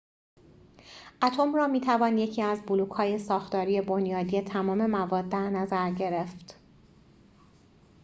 اتم را می‌توان یکی از بلوک‌های ساختاری بنیادی تمام مواد در نظر گرفت